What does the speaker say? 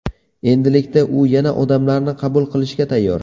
Endilikda u yana odamlarni qabul qilishga tayyor.